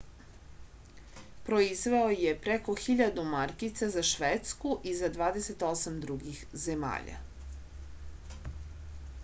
proizveo je preko 1000 markica za švedsku i za 28 drugih zemalja